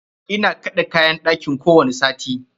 Ina kaɗe kayan ɗakin kowani sati.